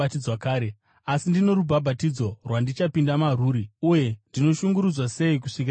Asi ndino rubhabhatidzo rwandichapinda marwuri, uye ndinoshungurudzwa sei kusvikira ruchiitika!